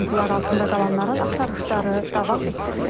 Dağıntılar altında qalanların axtarışları davam etdirilir.